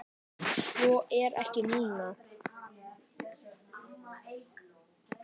Svo er ekki nú.